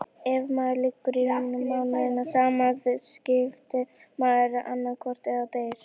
Ef maður liggur í rúminu mánuðum saman vitkast maður annaðhvort eða deyr.